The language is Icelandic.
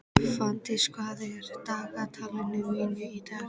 Fanndís, hvað er á dagatalinu mínu í dag?